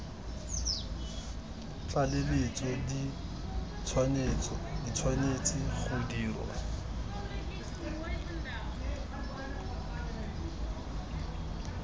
tlaleletso di tshwanetse go dirwa